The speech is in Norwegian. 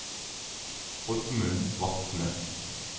Oddmund Vatne